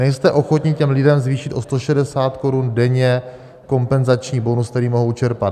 Nejste ochotni těm lidem zvýšit o 160 korun denně kompenzační bonus, který mohou čerpat.